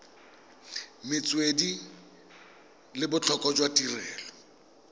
metswedi le botlhokwa jwa tirelo